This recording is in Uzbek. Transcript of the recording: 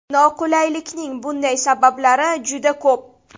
Noqulaylikning bunday sabablari juda ko‘p.